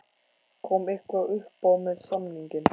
Kom eitthvað uppá með samninginn?